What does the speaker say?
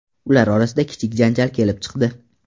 Ular orasida kichik janjal kelib chiqdi.